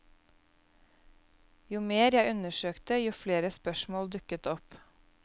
Jo mer jeg undersøkte, jo flere spørsmål dukket opp.